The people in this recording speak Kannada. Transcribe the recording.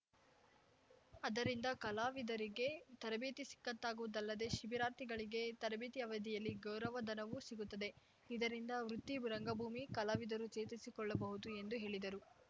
ಅದರಿಂದ ಕಲಾವಿದರಿಗೆ ತರಬೇತಿ ಸಿಕ್ಕಂತಾಗುವುದಲ್ಲದೇ ಶಿಬಿರಾರ್ಥಿಗಳಿಗೆ ತರಬೇತಿ ಅವಧಿಯಲ್ಲಿ ಗೌರವ ಧನವೂ ಸಿಗುತ್ತದೆ ಇದರಿಂದ ವೃತ್ತಿ ರಂಗಭೂಮಿ ಕಲಾವಿದರು ಚೇತರಿಸಿಕೊಳ್ಳಬಹುದು ಎಂದು ಹೇಳಿದರು